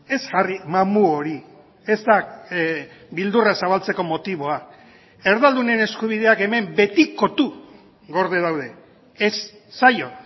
ez jarri mamu hori ez da beldurra zabaltzeko motiboa erdaldunen eskubideak hemen betikotu gorde daude ez zaio